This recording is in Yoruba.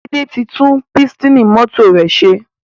Laide tí tún Pístìnì mọ́tò rẹ ṣe.